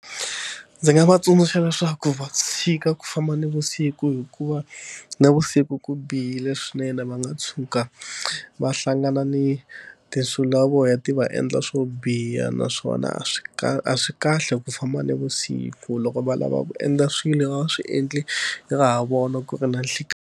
Ndzi nga va tsundzuxa leswaku va tshika ku famba na vusiku hikuva na vusiku ku bihile swinene, va nga tshuka va hlangana ni tinsulavoya ti va endla swo biha naswona a swi a swi kahle ku famba na vusiku, loko va lava ku endla swilo a va swi endle ra ha vona ku ri na nhlikani.